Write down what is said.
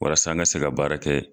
Walasa n ka se ka baara kɛ.